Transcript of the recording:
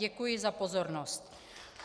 Děkuji za pozornost.